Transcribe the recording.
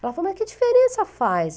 Ela falou, e que diferença faz?